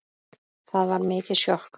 Það var mikið sjokk.